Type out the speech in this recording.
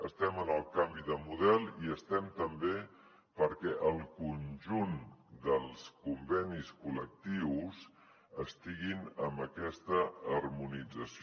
estem en el canvi de model i estem també perquè el conjunt dels convenis col·lectius estiguin amb aquesta harmonització